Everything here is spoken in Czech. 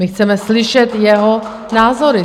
My chceme slyšet jeho názory.